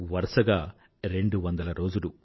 వరుసగా రెండువందల రోజులు